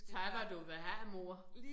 Tag hvad du vil have mor